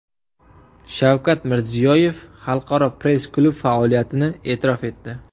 Shavkat Mirziyoyev Xalqaro press-klub faoliyatini e’tirof etdi.